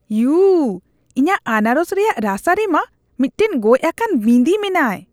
U ! ᱤᱧᱟᱜ ᱟᱱᱟᱨᱚᱥ ᱨᱮᱭᱟᱜ ᱨᱟᱥᱟ ᱨᱮ ᱢᱟ ᱢᱤᱫᱴᱟᱝ ᱜᱚᱡᱼᱟᱠᱟᱱ ᱵᱤᱸᱫᱤ ᱢᱮᱱᱟᱭ ᱾